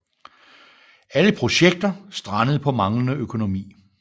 Alle projekter strandede på manglende økonomi